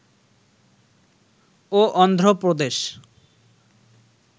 ও Andhra প্রদেশ